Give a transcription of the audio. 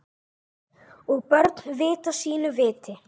Og börn vita sínu viti.